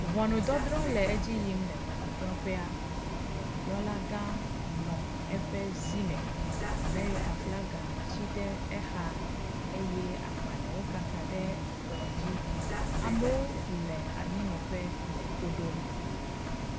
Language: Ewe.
ʋɔnudzɔdzrɔ le edziyim le ʋɔnudzrɔƒea ʋɔnudrɔla gã nɔ eƒe zí me amerika flaga tsi ɖe éxa eye agbalewo kaka ɖe ekplɔ dzi amoó le anyinɔƒe le tódom